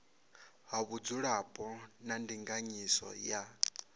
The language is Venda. ha vhudzulapo na ndinganyiso ya